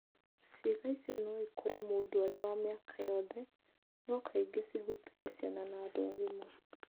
Ciĩga icio no ikũre mũndũ arĩ wa mĩaka yothe, no kaingĩ cihutagia ciana na andũ agima.